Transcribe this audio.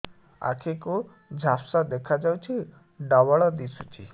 ଆଖି କୁ ଝାପ୍ସା ଦେଖାଯାଉଛି ଡବଳ ଦିଶୁଚି